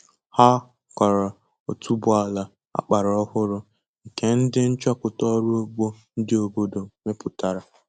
Ha kọrọ otuboala agbara ọhụrụ nke ndi nchọpụta ọrụ ugbo ndị obodo mepụtara